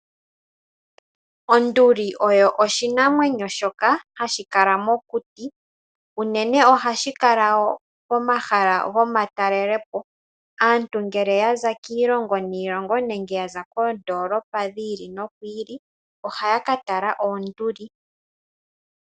Onduli oyo oshinamwenyo shoka hashi kala mokuti, unene osha kala pomahala gomatalelepo. Aantu ngele yaza kiilongo niilongo nenge yaza koondoolopa dhi ili no dhi ili, ohaya ka tala onduli.